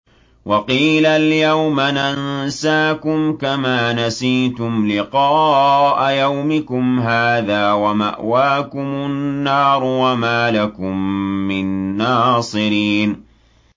وَقِيلَ الْيَوْمَ نَنسَاكُمْ كَمَا نَسِيتُمْ لِقَاءَ يَوْمِكُمْ هَٰذَا وَمَأْوَاكُمُ النَّارُ وَمَا لَكُم مِّن نَّاصِرِينَ